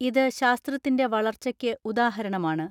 ഇത് ശാസ്ത്രത്തിന്റെ വളർച്ചയ്ക്ക് ഉദാഹരണമാണ്.